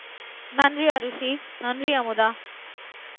நன்றி அரூசி நன்றி அமுதா